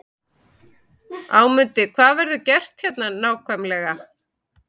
Ámundi, hvað verður gert hérna nákvæmlega?